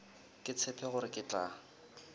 ke tshepe gore ke tla